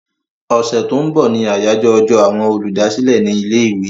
Ọ̀sẹ̀ tó ń bọ̀ ni àyájọ́ ọjọ́ àwọn olùdásílẹ̀ ní ilé-ìwé.